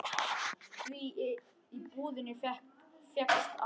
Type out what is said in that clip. Því í búðinni fékkst allt.